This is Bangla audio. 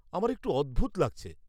আমার একটু অদ্ভুত লাগছে।